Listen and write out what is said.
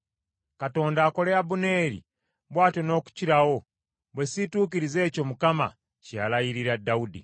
Katonda akole Abuneeri bw’atyo n’okukirawo, bwe siituukirize ekyo Mukama kye yalayirira Dawudi,